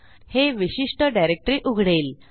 हे विशिष्ट डिरेक्टरी उघडेल